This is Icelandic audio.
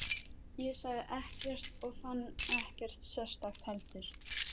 Ég sagði ekkert og fann ekkert sérstakt heldur.